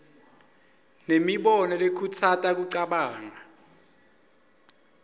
nemibono lekhutsata kucabanga